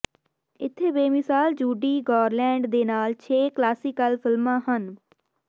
ਇੱਥੇ ਬੇਮਿਸਾਲ Judy Garland ਦੇ ਨਾਲ ਛੇ ਕਲਾਸੀਕਲ ਫਿਲਮਾਂ ਹਨ